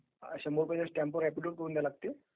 अश्या रेव्हेन्यू स्टॅम्पवर ऍफीडेबिट करावे लागते..